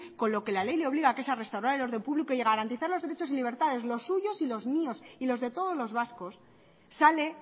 con la que la ley le obliga que es a restaurar el orden público y a garantizar a derechos y libertades los suyos y los míos y los de todos los vascos sale